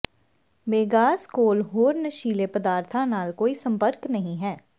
ਮੇਗਾਸ ਕੋਲ ਹੋਰ ਨਸ਼ੀਲੇ ਪਦਾਰਥਾਂ ਨਾਲ ਕੋਈ ਸੰਪਰਕ ਨਹੀਂ ਹੈ